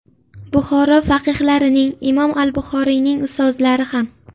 Buxoro faqihlarining, Imom al-Buxoriyning ustozlari ham.